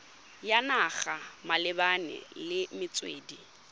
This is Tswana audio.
ya naga malebana le metswedi